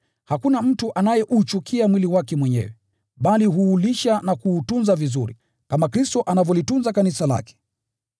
Hakuna mtu anayeuchukia mwili wake mwenyewe, bali huulisha na kuutunza vizuri, kama Kristo anavyolitunza Kanisa lake.